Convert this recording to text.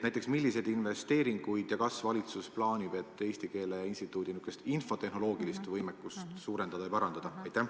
Kas ja milliseid investeeringuid valitsus plaanib, et Eesti Keele Instituudi infotehnoloogilist võimekust suurendada ja parandada?